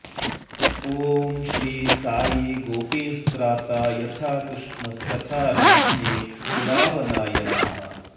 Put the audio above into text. ॐ श्री साई गोपींस्त्राता यथा कृष्णस्तथा नाच्ने कुलावनाय नमः